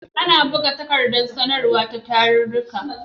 Ana buga takardar sanarwa ta tarurruka.